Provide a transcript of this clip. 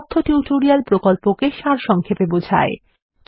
এটি কথ্য টিউটোরিয়াল প্রকল্পকে সারসংক্ষেপে বোঝায়